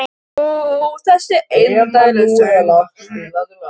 Ó þessir indælu söngvar sem hann kunni.